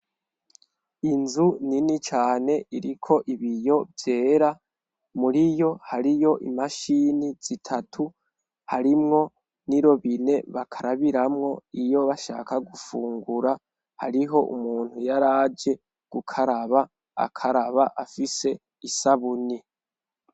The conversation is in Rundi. Inzu nini cane iriko ibiyo vyera muri yo hariyo imashini zitatu harimwo n'irobine bakarabiramwo iyo bashaka gufungura hariho umuntu yari aje gukaraba akaraba afise isabuni.